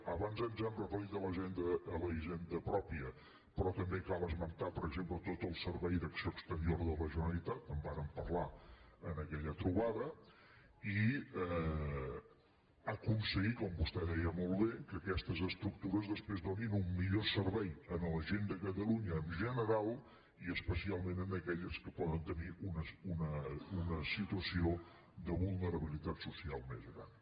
abans ens hem referit a la hisenda pròpia pe·rò també cal esmentar per exemple tot el servei d’ac·ció exterior de la generalitat que en vàrem parlar en aquella trobada i aconseguir com vostè deia molt bé que aquestes estructures després donin un millor ser·vei a la gent de catalunya en general i especialment a aquelles que poden tenir una situació de vulnerabilitat social més gran